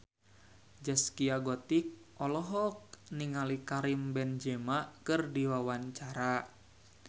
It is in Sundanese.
Zaskia Gotik olohok ningali Karim Benzema keur diwawancara